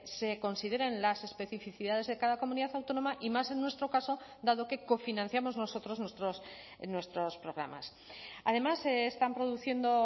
se consideren las especificidades de cada comunidad autónoma y más en nuestro caso dado que cofinanciamos nosotros nuestros programas además se están produciendo